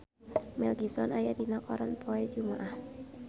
Mel Gibson aya dina koran poe Jumaah